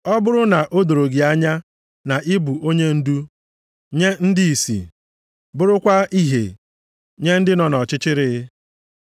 ọ bụrụ na o doro gị anya na ị bụ onyendu nye ndị ìsì, bụrụkwa ìhè nye ndị nọ nʼọchịchịrị,